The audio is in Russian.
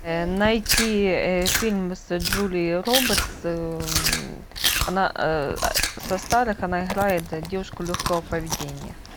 найти фильм с джулией робертс она со старых она играет девушку легкого поведения